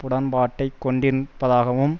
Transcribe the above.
உடன்பாட்டை கொண்டின் இருப்பதாகவும்